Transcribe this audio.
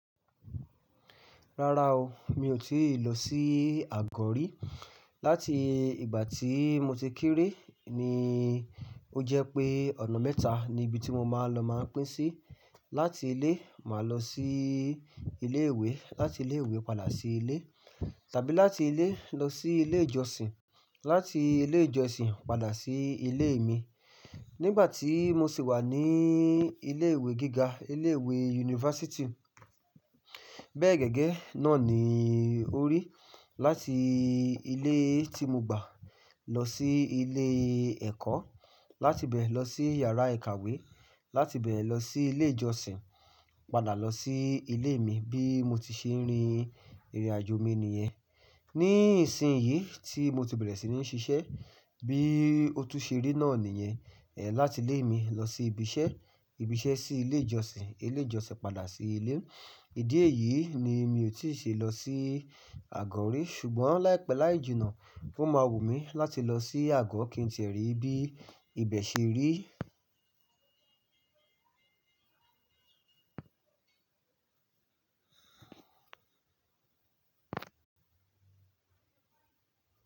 Rárá o, mi ò tíì lọ sí Àgọ̀ rí. Láti ìgbà tí mo ti kéré ni ó jẹ́ pé ọ̀na mẹ́ta ni ibi tí mo máa ń lọ máa ń pín sí. Láti ilé, màá lọ sí ilé ìwé, láti ilé ìwé padà sí ilé; tàbí láti ilé lọ sí ilé ìjọsìn, láti ilé ìjọsìn padà sí ilé mi. Nígbà tí mo sì wà ní ilé ìwé gíga, ilé ìwé yunifásítì, bẹ́ẹ̀ gẹ́gẹ́ náà ni ó rí. Láti ilé tí mo gbà lọ sí ilé ẹ̀kọ́, láti ibẹ̀ lọ sí yàrá ìkàwé, láti ibẹ̀ lọ sí ilé ìjọsìn, padà lọ sí ilé mi. Bí mo ti ṣe ń rin ìrìnàjò mi nìyẹn. Ní ìsìn yìí tí mo ti bẹ̀rẹ̀ sí ní ṣiṣẹ́, bí ó tú ṣe rí náà nìyẹn. Ẹ̀ láti ilé mi lọ sí ibi iṣẹ́, ibi iṣẹ́ sí ilé ìjọsìn, ilé ìjọsìn padà sí ilé. Ìdí èyí ni mi ò tíì ṣe lọ sí Àgọ̀ rí. Ṣùgbọ́n láìpẹ́ láìjìnà o máa wù mí láti lọ sí Àgọ̀ kí n ti è rí bí ibẹ̀ ṣe rí.